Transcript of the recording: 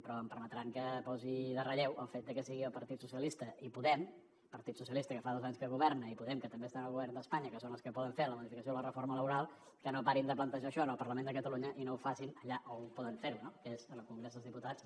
però em permetran que posi en relleu el fet de que siguin el partit socialista i podem el partit socialista que fa dos anys que governa i podem que també està en el govern d’espanya que són els que poden fer la modificació de la reforma laboral els que no parin de plantejar això en el parlament de catalunya i no ho facin allà on poden fer ho no que és en el congrés dels diputats